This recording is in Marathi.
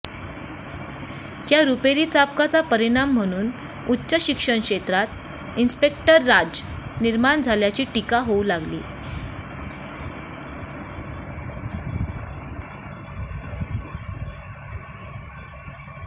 या रुपेरी चाबकाचा परिणाम म्हणून उच्च शिक्षणक्षेत्रात इन्सपेक्टर राज निर्माण झाल्याची टीका होऊ लागली